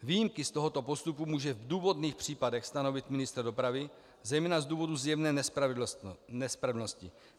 Výjimky z tohoto postupu může v důvodných případech stanovit ministr dopravy, zejména z důvodu zjevné nespravedlnosti.